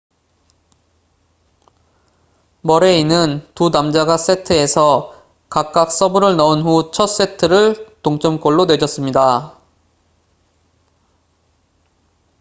머레이는 두 남자가 세트에서 각각 서브를 넣은 후 첫 세트를 동점골로 내줬습니다